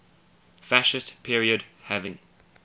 fascist period having